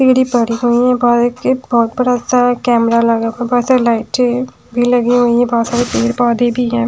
Gate बहोत बड़ा अच्छा हैकाकैमरा लगा हैबहोत सरे लइठे हैजो लगी हुई है बहोत सरे पेड़ पौधे भी है।